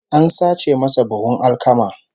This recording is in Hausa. An sace masa buhun alkama